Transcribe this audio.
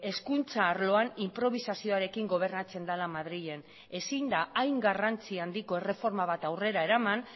hezkuntza arloan inprobisazioarekin gobernatzen dela madrilen ezin da hain garrantzia handiko erreforma bat aurrera eraman